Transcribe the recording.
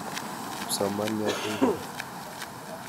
Kipsomaniat ingoro?